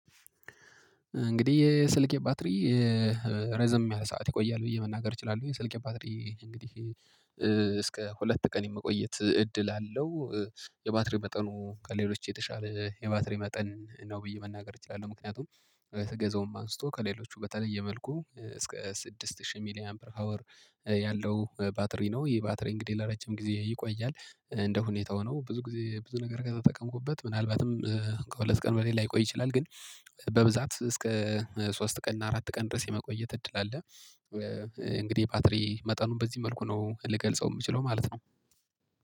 እንግዲህ የስልኬ ባትሪ ረዘም ያለ ሰዓት ይቆያል ብዬ መናገር እችላለሁ የስልኬ ባትሪ እንግዲህ እስከ ሁለት ቀን የመቆየት እድል አለው። የባትሪ መጠኑ ከሌሎች የተሻለ የባትሪ መጠን ነው ብዬ መናገር እችላለሁ። ምክንያቱም ስገዛውም አንስቶ ከሌሎቹ በተለየ መልኩ እስከ ስድስት ሺህ ሚሊአምፒር ፓወር ያለው ባትሪ ነው። ይሄ ባትሪ እንግዲህ ለረጀም ጊዜ ይቆያል እንደ ሁኔታው ነው። ብዙ ጊዜ ብዙ ነገር ከተጠቀምኩበት ምናልባትም ከሁለት ቀን በላይ ላይቆይ ይችላል። ግን በብዛት እስከ ሶስት ቀን እና አራት ቀን ድረስ የመቆየት እድል አለ። እንግዲህ የባትሪ መጠኑን በዚህ መልኩ ነው ልገልጸው የምችለው ማለት ነው።